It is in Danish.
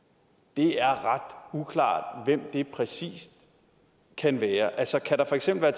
det er ret uklart hvem det præcis kan være altså kan der for eksempel